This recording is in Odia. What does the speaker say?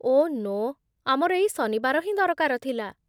ଓଃ ନୋ, ଆମର ଏଇ ଶନିବାର ହିଁ ଦରକାର ଥିଲା ।